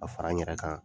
Ka fara n yɛrɛ kan